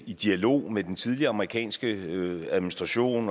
i dialog med den tidligere amerikanske administration